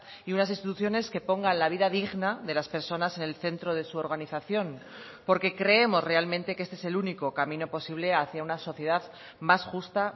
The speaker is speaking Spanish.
y unas instituciones que pongan la vida digna de las personas en el centro de su organización porque creemos realmente que este es el único camino posible hacia una sociedad más justa